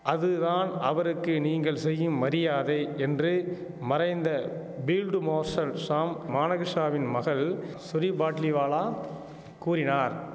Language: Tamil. அது தான் அவருக்கு நீங்கள் செய்யும் மரியாதை என்று மறைந்த பீல்டு மோர்ஷல் ஷாம் மானகிருஷ்ணாவின் மகள் ஷோரி பாட்லிவாலா கூறினார்